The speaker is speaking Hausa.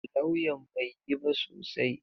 Lawyan bai yi ba sosai.